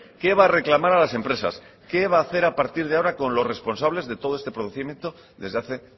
qué va a reclamar a las empresas qué va hacer a partir de ahora con los responsables de todo este procedimiento desde hace